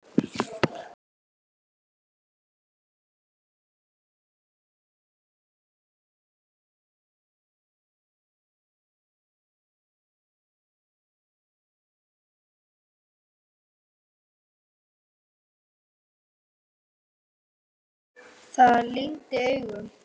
Það lygndi augum.